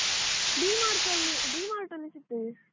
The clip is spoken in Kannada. D Mart ಅಲ್ಲಿ D Mart ಅಲ್ಲಿ ಸಿಕ್ತದೆ.